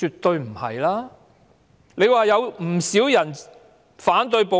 她說道，有不少人反對暴力。